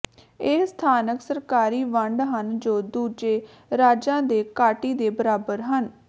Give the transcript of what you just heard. ਇਹ ਸਥਾਨਕ ਸਰਕਾਰੀ ਵੰਡ ਹਨ ਜੋ ਦੂਜੇ ਰਾਜਾਂ ਦੇ ਕਾੱਟੀ ਦੇ ਬਰਾਬਰ ਹਨ